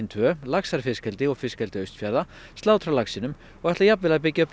tvö laxar fiskeldi og fiskeldi Austfjarða slátra laxinum og ætla jafnvel að byggja upp